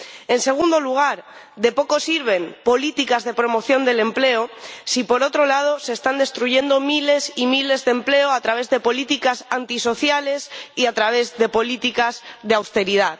En segundo lugar, de poco sirven políticas de promoción del empleo si, por otro lado, se están destruyendo miles y miles de empleos a través de políticas antisociales y a través de políticas de austeridad.